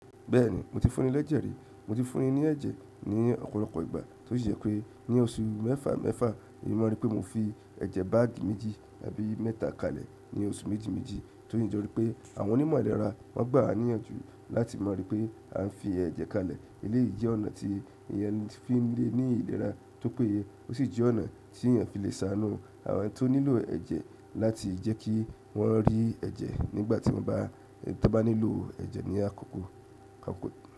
Bẹ́ẹ̀ni mo ti fún ní lẹ́jẹ̀ rí, mo ti fún ní ní ẹ̀jẹ̀ ní ọ̀pọ̀lọpọ̀ ìgbà tí ó sì yẹ pé ní oṣù mẹ́fà mẹ́fà èyí mọ̀ rí pé mo fi ẹ̀jẹ̀ báàgì méjì tàbí mẹ́ta kalẹ̀ ní oṣù méjì méjì tí ó sì jọ rí pé àwọn onímọ̀ ìlera máa gbà wá níyànjú láti mọ̀ rí pé à ń fi ẹ̀jẹ̀ kalẹ̀. Eléyìí jẹ́ ọ̀nà tí èèyàn fi ń lé ní ìlera tó péye ó sì jẹ́ ọ̀nà tí èèyàn fi lè ṣàánú àwọn tó nílò ẹ̀jẹ̀ láti jẹ́ kí wọ́n rí ẹ̀jẹ̀ nígbà tí wọ́n bá nílò ẹ̀jẹ̀ ní àkókò.